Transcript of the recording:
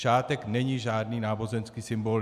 Šátek není žádný náboženský symbol.